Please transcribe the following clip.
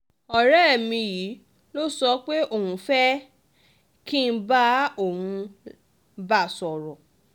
ọ̀rẹ́ mi yìí ló sọ pé òun fẹ́ẹ́ fẹ́ ẹ kí n bá òun bá a sọ̀rọ̀